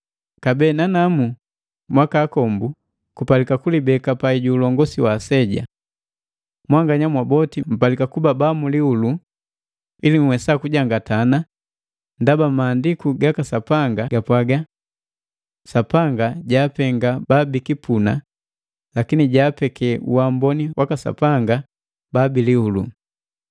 Kabee nanamu mwaka akombu kupalika kulibeka pai ju ulongosi wa aseja. Mwanganya mwaboti mpalika kuba ba mulihulu ili nhuwesa kujangatana, ndaba Maandiku gaka Sapanga gapwaga: “Sapanga jaapenga baabikipuna, lakini jaapeke uamboni waka Sapanga babilihulu.